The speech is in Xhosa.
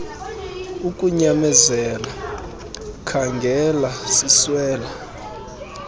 ukunyamezela khaangela siswela